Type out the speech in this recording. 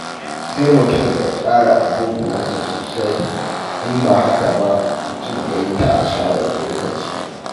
Sai mutum ya tsara abubuwansa sosai, in ba haka ba, mutum ya yi ta asarar lokaci.